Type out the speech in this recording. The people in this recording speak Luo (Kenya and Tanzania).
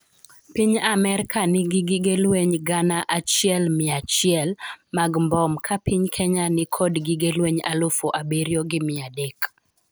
Piny Amerka nigi gige lweny gana achiel mia achiel mag mbom ka piny Kenya ni kod gige lweny alufu abiriyo gi mia adek